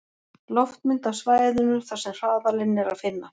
Loftmynd af svæðinu þar sem hraðalinn er að finna.